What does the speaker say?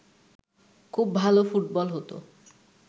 খুব ভালো ফুটবল হতো